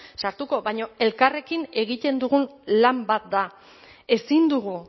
sartuko baina elkarrekin egiten dugun lan bat da ezin dugu